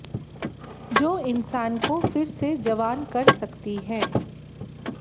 जो इंसान को फिर से जवान कर सकती हैं